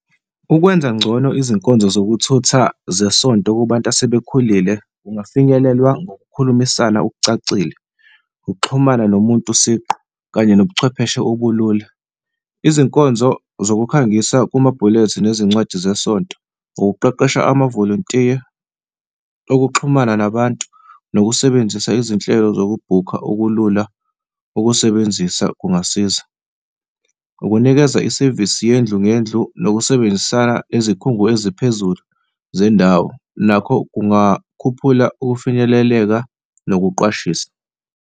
Ukwenza ngcono izinkonzo zokuthutha zesonto kubantu asebekhulile kungafinyelelwa ngokukhulumisana okucacile, ukuxhumana nomuntu siqu kanye nobuchwepheshe obulula izinkonzo zokukhangisa kuma-bullet nezincwadi zesonto, ukuqeqesha amavolontiya okuxhumana nabantu nokusebenzisa izinhlelo yokubhukha okulula ukusebenzisa kungasiza, ukunikeza isevisi yendlu ngendlu. Nokusebenzisana izikhungo eziphezulu zendawo nakho kungakhuphula ukufinyeleleka nokuqwashisa.